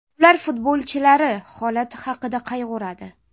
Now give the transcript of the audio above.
Ular futbolchilari holati haqida qayg‘uradi?